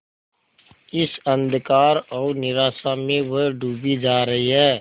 इस अंधकार और निराशा में वह डूबी जा रही है